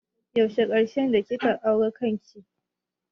Yaushe karshe kika auna kanki?